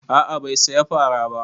A'a bai saya fara ba